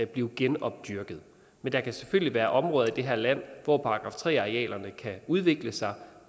blive genopdyrket men der kan selvfølgelig være områder i det her land hvor § tre arealerne kan udvikle sig